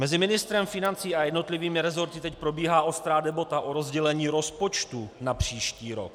Mezi ministrem financí a jednotlivými rezorty teď probíhá ostrá debata o rozdělení rozpočtu na příští rok.